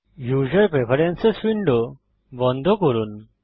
user preferences window বন্ধ করুন